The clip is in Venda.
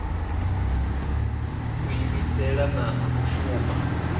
u iimisela na u shuma